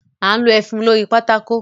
A n lo ẹfun lórí pátákò.